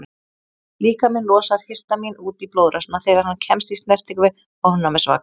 Líkaminn losar histamín út í blóðrásina þegar hann kemst í snertingu við ofnæmisvaka.